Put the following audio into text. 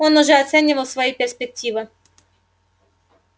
он уже оценивал свои перспективы